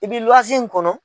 I bi in kɔnɔ.